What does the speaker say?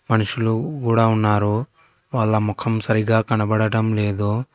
మనుషులు కూడా ఉన్నారు వాళ్ళ ముఖం సరిగా కనబడటం లేదు.